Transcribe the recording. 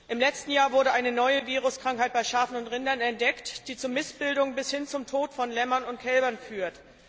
Im letzten Jahr wurde eine neue Viruskrankheit bei Schafen und Rindern entdeckt, die zu Missbildungen bis hin zum Tod von Lämmern und Kälbern führt.